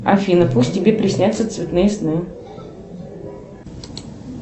афина пусть тебе приснятся цветные сны